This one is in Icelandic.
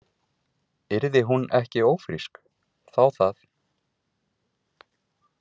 Yrði hún ekki ófrísk, þá það.